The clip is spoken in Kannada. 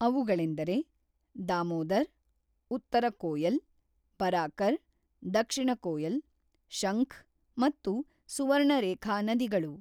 ಅವುಗಳೆಂದರೆ: ದಾಮೋದರ್, ಉತ್ತರ ಕೋಯಲ್, ಬರಾಕರ್, ದಕ್ಷಿಣ ಕೋಯಲ್, ಶಂಖ್ ಮತ್ತು ಸುವರ್ಣರೇಖಾ ನದಿಗಳು.